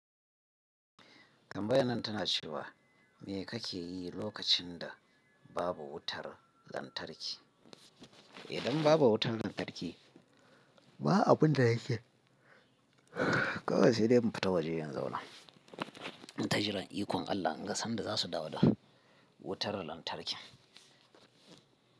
Tambayar nan tana cewa me kake yi lokacin da babu wutar lantarki? Idan babu wutar lantarki, ba abun da nake. Kawai sai dai mu fita waje in zauna in ta rajin ikon Allah, in ga sanda za su dawo da wutar lantarki.